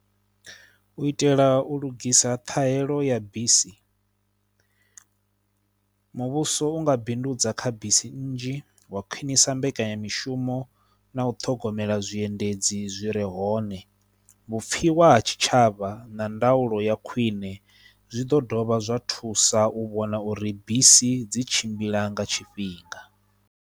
U itela u lugisa ṱhahelo ya bisi muvhuso u nga bindudza kha bisi nnzhi wa khwinisa mbekanyamishumo na u ṱhogomela zwiendedzi zwi re hone, vhupfhiwa ha tshitshavha na ndaulo ya khwine zwi ḓo dovha zwa thusa u vhona uri bisi dzi tshimbila nga tshifhinga.